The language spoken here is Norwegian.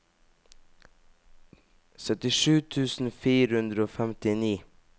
syttisju tusen fire hundre og femtini